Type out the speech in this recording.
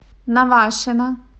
навашино